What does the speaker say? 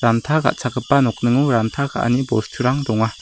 ranta ka·chakgipa nokningo ranta ka·ani bosturang donga.